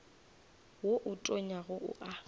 wo o tonyago o a